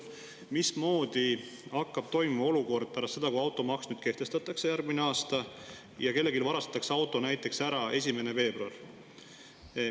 Mismoodi on olukord pärast seda, kui nüüd automaks kehtestatakse järgmine aasta, ja kellelgi varastatakse auto näiteks 1. veebruaril ära?